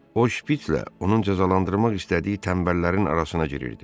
O şpitslə onun cəzalandırmaq istədiyi tənbəllərin arasına girirdi.